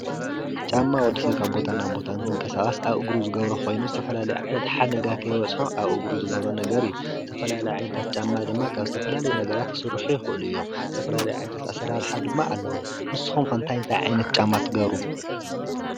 ጫማ ንወዲ ሰብ ካብ ቦታ ናብ ቦታ እንትንቀሳቀስ ኣብ እግሩ ዝገብሮ ኮይኑ ዝተፈላለየ ዓይነት ሓደጋ ከይበፅሖ ኣብ እግሩ ዝገብሮ ነገር እዩ። ዝተፈላለየ ዓይነታት ጫማ ድማ ካብ ዝተፈላለየ ነገራት ክስርሑ ይኽእሉ እዮም። ዝተፈላለዩ ዓይነታት ኣሰራርሓ ድማ ኣለው። ንስኩም ከ እንታይ እንታይ ዓይነት ጫማ ትገብሩ?